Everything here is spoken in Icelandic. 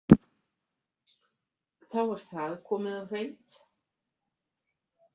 Þá er það komið á hreint.